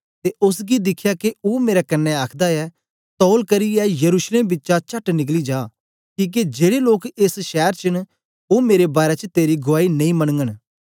ते ओसगी दिखया के ओ मेरे कन्ने आखदा ऐ तौल करियै यरूशलेम बिचा चट निकली जा किके जेड़े लोक एस शैर च न ओ मेरे बारै च तेरी गुआई नेई मनगन